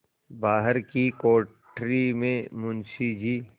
बाहर की कोठरी में मुंशी जी